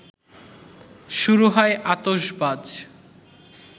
শুরু হয় আতশবাজ